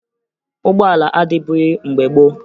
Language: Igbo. Ụgbọala adịbughi mgbe gboo